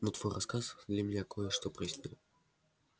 но твой рассказ для меня кое-что прояснил